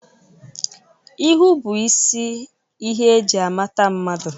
Ihu bụ isi ihe e ji amata mmadu